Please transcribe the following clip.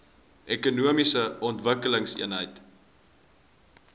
ekonomiese ontwikkelingseenhede eoes